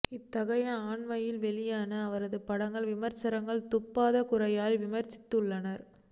இத்தனைக்கும் அண்மையில் வெளியான அவரது படங்களை விமர்சகர்கள் துப்பாத குறையாக விமர்சித்துள்ளனர்